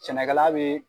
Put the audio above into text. Sɛnɛkɛla bee